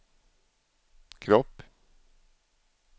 kropp